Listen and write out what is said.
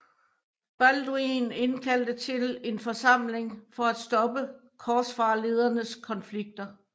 Balduin indkaldte til en forsamling for at stoppe korsfarerledernes konflikter